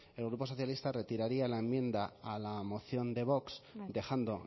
el grupo socialista retiraría la enmienda a la moción de vox dejando